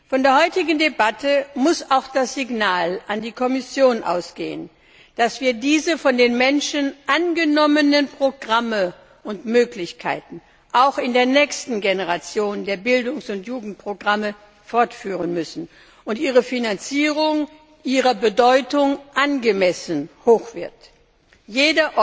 Von der heutigen Debatte muss auch das Signal an die Kommission ausgehen, dass wir diese von den Menschen angenommenen Programme und Möglichkeiten auch in der nächsten Generation der Bildungs und Jugendprogramme fortführen müssen und ihre Finanzierung ihrer Bedeutung angemessen hoch sein wird.